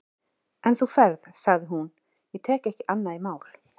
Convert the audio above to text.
En þú ferð, sagði hún, ég tek ekki annað í mál.